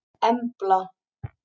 Embla